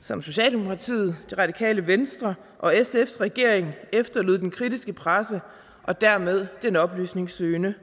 som socialdemokratiet det radikale venstre og sfs regering efterlod den kritiske presse og dermed den oplysningssøgende